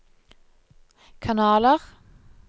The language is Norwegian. kanaler